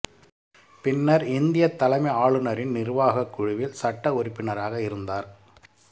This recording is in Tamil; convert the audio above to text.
பின்னர் இந்தியத் தலைமை ஆளுநரின் நிர்வாகக் குழுவில் சட்ட உறுப்பினராக இருந்தார்